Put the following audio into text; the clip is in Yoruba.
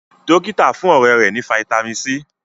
dókítà fún ọrẹ rè ní vitamin c.